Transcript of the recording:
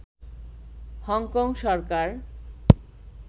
Hong Kong Sarkar